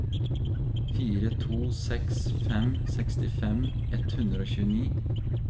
fire to seks fem sekstifem ett hundre og tjueni